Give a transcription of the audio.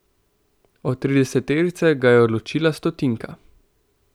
Od trideseterice ga je ločila stotinka.